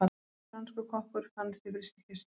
Franskur kokkur fannst í frystikistu